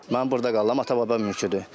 Mən burda qalıram, ata-baba mülküdür.